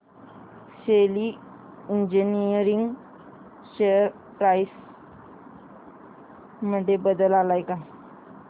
शेली engineering share price मध्ये बदल आलाय का